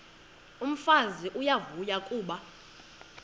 umfazi uyavuya kuba